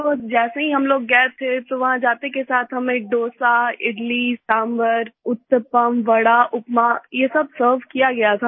तो जैसे ही हम लोग गए थे तो वहाँ जाते के साथ हमें डोसा इडली सांभर उत्तपम वड़ा उपमा ये सब सर्व किया गया था